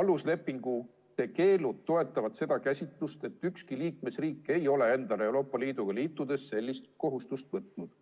aluslepingute keelud toetavad seda käsitlust, et ükski liikmesriik ei ole endale Euroopa Liiduga liitudes sellist kohustust võtnud.